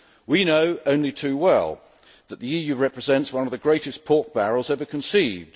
We know only too well that the EU represents one of the greatest pork barrels ever conceived.